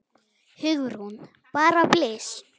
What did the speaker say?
Hugrún: Bara blys?